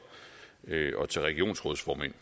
og til regionsrådsformænd